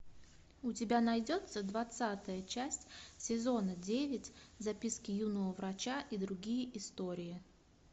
у тебя найдется двадцатая часть сезона девять записки юного врача и другие истории